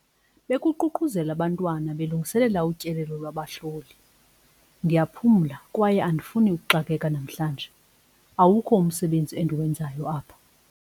Bekuququzela abantwana belungiselela utyelelo lwabahloli. ndiyaphumla kwaye andifuni ukuxakeka namhlanje, awukho umsebenzi endiwenzayo apha